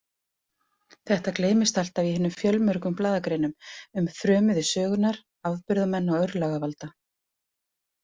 Þetta gleymdist alltaf í hinum fjölmörgu blaðagreinum um frömuði sögunnar, afburðamenn og örlagavalda.